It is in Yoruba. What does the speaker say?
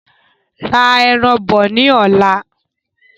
Ra ẹran bọ ní ọ̀la